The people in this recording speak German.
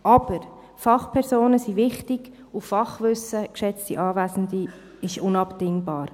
Aber Fachpersonen sind wichtig, und Fachwissen, geschätzte Anwesende, ist unabdingbar.